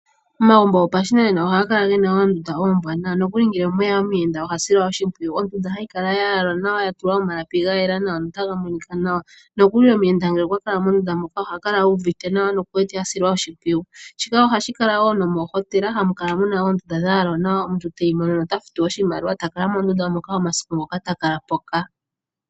Omagumbo gopashinanena ohaga kala gena oondunda ombwaanawa, nokuli ngele omweya omuyenda ohasilwa oshimpwiyu, ondunda hayi kala yayalwa nawa yatulwa omalapi ga yela nawa. Nomuyenda ngele eli mondunda mono oha kala uuvite etumba nokwasilwa oshipwiyu, shika ohashi kala wo nomoohotela mono aantu haya vulu okuya yakalalemo nande omasiku gontumba eta futu oshimaliwa shiikwatelela kutya okwa kalamo omasiku gethike peni.